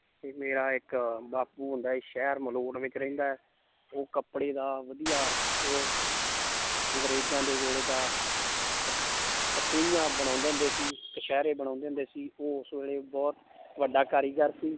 ਤੇ ਮੇਰਾ ਇੱਕ ਬਾਪੂ ਸ਼ਹਿਰ ਮਲੌਟ ਵਿੱਚ ਰਹਿੰਦਾ ਹੈ ਉਹ ਕੱਪੜੇ ਦਾ ਵਧੀਆ ਉਹ ਅੰਗਰੇਜ਼ਾਂ ਦੇ ਵੇਲੇ ਦਾ ਬਣਾਉਂਦੇ ਹੁੰਦੇ ਸੀ ਕਛਿਹਰੇ ਬਣਾਉਂਦੇ ਹੁੰਦੇ ਸੀ ਉਹ ਉਸ ਵੇਲੇ ਬਹੁਤ ਵੱਡਾ ਕਾਰੀਗਰ ਸੀ।